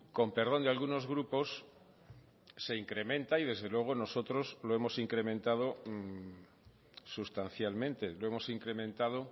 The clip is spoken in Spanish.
con perdón de algunos grupos se incrementa y desde luego nosotros lo hemos incrementado sustancialmente lo hemos incrementado